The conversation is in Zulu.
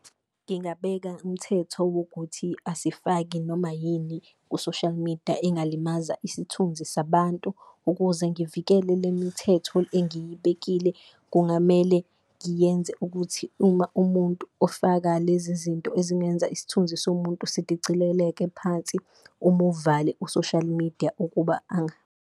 Ngingabeka umthetho wokuthi asifaki noma yini ku-social media engalimaza isithunzi sabantu, ukuze ngivikele le mthetho engiyibekile kungamele ngiyenze ukuthi uma umuntu ofaka lezi zinto ezingenza isithunzi somuntu sidicileleke phansi. Umuvale u-social media ukuba .